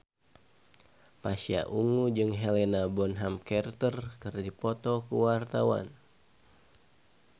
Pasha Ungu jeung Helena Bonham Carter keur dipoto ku wartawan